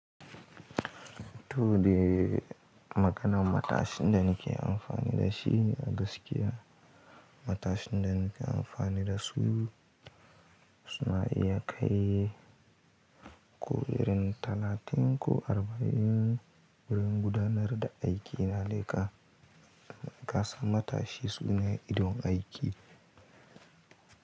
To, de maganan matashin da ne ke amfani da shi a gaskiya. Matashin da na ke amfani da su suna iya kai ko irin talatin ko arba'in wurin gudanar da aiki na laika. Kasan matashi su ne idon aiki.